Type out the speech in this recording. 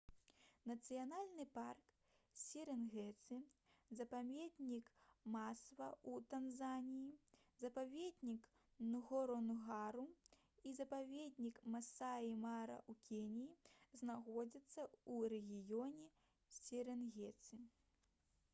нацыянальны парк серэнгэці запаведнік масва ў танзаніі запаведнік нгоронгара і запаведнік масаі мара ў кеніі знаходзяцца ў рэгіёне серэнгеці